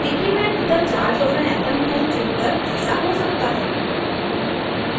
decrement the charge of an atom tool चुनकर ऐसा हो सकता है